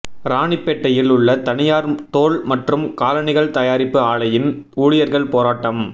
ராணிப்பேட்டையில் உள்ள தனியார் தோல் மற்றும் காலணிகள் தயாரிப்பு ஆலையின் ஊழியர்கள் போராட்டம்